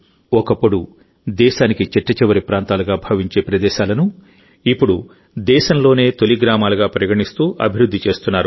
ఒకప్పుడు దేశానికి చిట్టచివరి ప్రాంతాలుగా భావించేpradeశాలను ఇప్పుడు దేశంలోనే తొలి గ్రామాలుగా పరిగణిస్తూ అభివృద్ధి చేస్తున్నారు